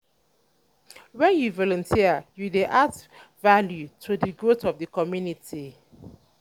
wen yu volunteer yu dey add value to di growth of di community